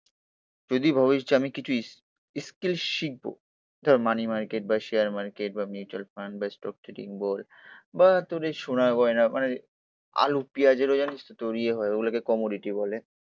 তুই যদি ভাবিস যে আমি কিছু ইস স্কিল শিখবো। ধর মানি মার্কেট বা শেয়ার মার্কেট বা মিউচুয়াল ফান্ড বা স্টক ট্রেডিং বল বা তোর এই সোনা গয়না। মানে আলু পেয়াজেরও জানিস তো তোর ইয়ে হয় ওগুলোকে কমোডিটি বলে।